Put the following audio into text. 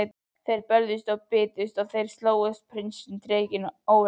Þeir börðust, þeir bitust, þeir slógust, prinsinn og drekinn ógurlegi.